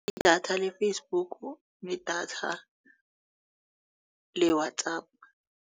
Idatha le-Facebook nedatha le-WhatsApp.